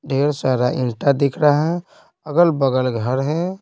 ढेर सारा ईटा दिख रहा है अगल-बगल घर है।